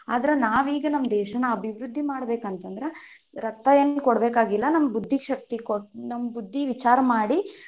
ಅದ್ರ ನಾವ್ ಈಗ ನಮ್ ದೇಶಾನ ಅಭಿವೃದ್ಧಿ ಮಾಡಬೇಕ್ ಅಂತಂದ್ರ, ರಕ್ತಾ ಏನ್ ಕೊಡ್ಬೇಕಾಗಿಲ್ಲಾ ನಮ್ಮ ಬುದ್ದಿಶಕ್ತಿ ಕೊ ನಮ್ಮ್ ಬುದ್ದಿ ವಿಚಾರ ಮಾಡಿ,